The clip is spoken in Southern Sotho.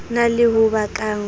na le ho bakang ho